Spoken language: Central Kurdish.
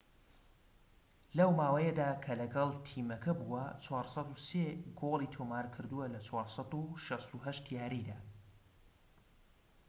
لەو ماوەیەدا کە لەگەڵ تیمەکە بووە، ٤٠٣ گۆڵی تۆمار کردووە لە ٤٦٨ یاریدا